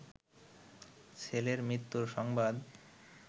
ছেলের মৃত্যু সংবাদ